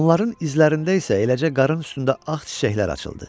Onların izlərində isə eləcə qarının üstündə ağ çiçəklər açıldı.